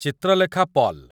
Chitralekha Paul